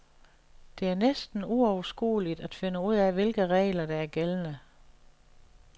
Det er næsten uoverskueligt at finde ud af hvilke regler, der er gældende.